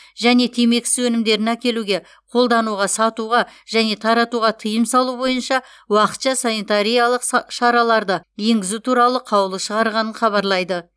және темекісіз өнімдерін әкелуге қолдануға сатуға және таратуға тыйым салу бойынша уақытша санитариялық са шараларды енгізу туралы қаулы шығарғанын хабарлайды